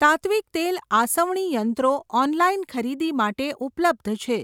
તાત્ત્વિક તેલ આસવણી યંત્રો ઓનલાઇન ખરીદી માટે ઉપલબ્ધ છે.